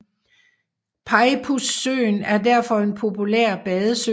Peipussøen er derfor en populær badesø